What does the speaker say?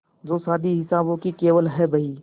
जो शादी हिसाबों की केवल है बही